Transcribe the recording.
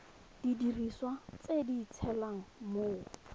didiriswa tse di tshelang mo